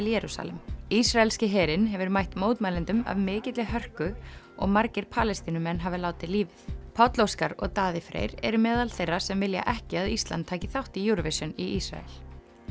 Jerúsalem ísraelski herinn hefur mætt mótmælendum af mikilli hörku og margir Palestínumenn hafa látið lífið Páll Óskar og Daði Freyr eru meðal þeirra sem vilja ekki að Ísland taki þátt í Eurovision í Ísrael